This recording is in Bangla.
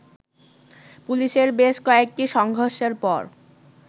পুলিশের বেশ কয়েকটি সংঘর্ষের পর